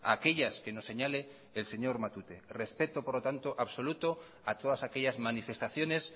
a aquellas que nos señale el señor matute respeto absoluto a todas aquellas manifestaciones